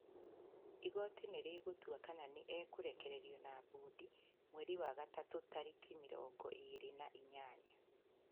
Igooti nĩ rĩgũtua kana nĩ egũrekererio na mbũndi mweri wa gatatu tarĩki mĩrongo ĩrĩ na inyanya.